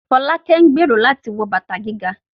Folake ń gbèrò láti wọ bàtà gíga